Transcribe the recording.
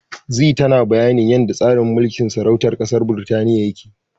Zee tana bayanin yanda yanda tsarin mulkin sarautar ƙasar Birtaniya yake.